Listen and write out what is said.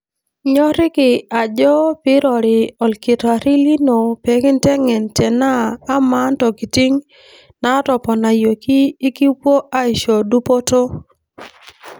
Ikinyoriki ajo pirori okitari lino pekintengen tenaa ama ntokitin natoponayioki ikipwo aisho dupoto.